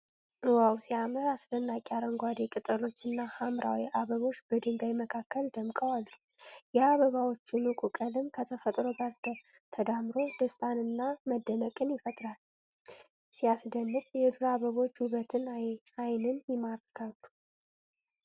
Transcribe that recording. ዋው ሲያምር! አስደናቂ አረንጓዴ ቅጠሎችና ሐምራዊ አበቦች በድንጋይ መካከል ደምቀው አሉ። የአበባዎቹ ንቁ ቀለም ከተፈጥሮ ጋር ተዳምሮ ደስታንና መደነቅን ይፈጥራል። ሲያስደንቅ የዱር አበቦች ውበት ዓይንን ይማርካል።